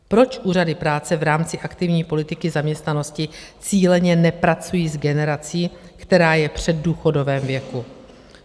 Proč úřady práce v rámci aktivní politiky zaměstnanosti cíleně nepracují s generací, která je v předdůchodovém věku?